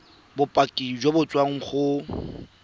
bopaki jo bo tswang go